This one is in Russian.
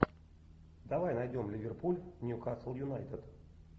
давай найдем ливерпуль ньюкасл юнайтед